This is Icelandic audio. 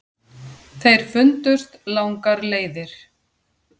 Þeir fundust langar leiðir.